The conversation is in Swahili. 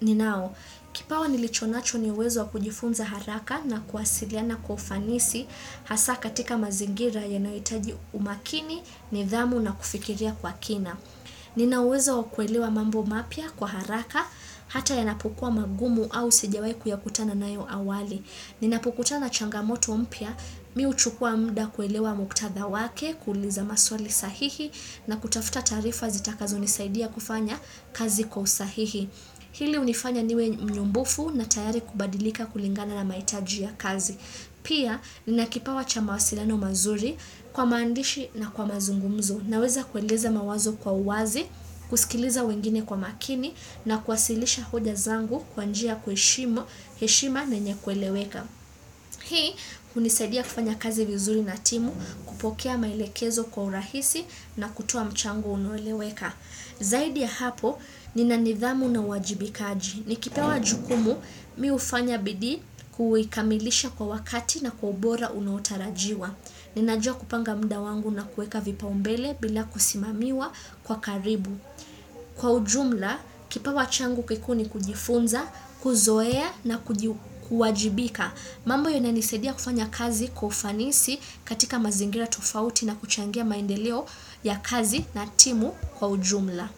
ninao. Kipawa nilichonacho niuwezo wa kujifunza haraka na kuwasiliana kwa ufanisi hasa katika mazingira ya nayohitaji umakini ni dhamu na kufikiria kwa kina. Ninauwezo wa kuelewa mambo mapya kwa haraka, hata yanapokuwa magumu au sijawahi ku ya kutana nayo awali. Ninapokutana changamoto mpia, mi hu chukua mda kuelewa muktatha wake, kuuliza maswali sahihi na kutafuta taarifa zita kazo nisaidia kufanya kazi kwa usahihi. Hili unifanya niwe mnyumbufu na tayari kubadilika kulingana na maitaji ya kazi. Pia ninakipawa cha mawasiliano mazuri kwa maandishi na kwa mazungumzo na weza kueleza mawazo kwa uwazi, kuskiliza wengine kwa makini na kuwasilisha hoja zangu kwanjia ya kuhe shima na yenye kueleweka. Hii, unisaidia kufanya kazi vizuri na timu kupokea maelekezo kwa urahisi na kutoa mchango unoeleweka. Zaidi ya hapo, ninanithamu na uwajibikaji. Ni kipewa jukumu, mi ufanya bidii kuikamilisha kwa wakati na kwa ubora unaotarajiwa. Ninajua kupanga mda wangu na kueka vipa umbele bila kusimamiwa kwa karibu. Kwa ujumla, kipa wa changu kikuu ni kujifunza, kuzoea na kuwajibika. Mambo hiyo inanisaidia kufanya kazi kwa ufanisi katika mazingira tofauti na kuchangia maendeleo ya kazi na timu kwa ujumla.